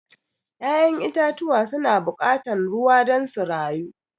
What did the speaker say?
ya'yan itatuwa su na buƙatan ruwa don su rayu.